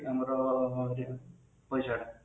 ଆମର ପଇସା ଟା